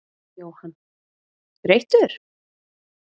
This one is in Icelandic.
Jóhann: Þreyttur?